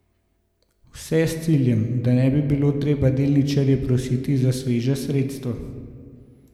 Vse s ciljem, da ne bi bilo treba delničarje prositi za sveža sredstva.